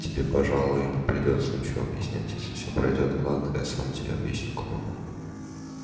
да тебе пожалуй и не придётся ничего объяснять если все пройдёт гладко сам все объясню кому надо